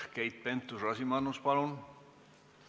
Keit Pentus-Rosimannus, palun!